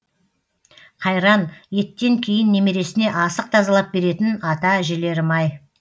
қайран еттен кейін немересіне асық тазалап беретін ата әжелерім ай